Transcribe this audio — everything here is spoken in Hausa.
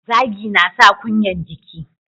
Zagi yana sa kunyan jiki.